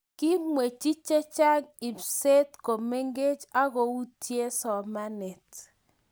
kimwechi che chang' ibset ko mengech aku yutie somanet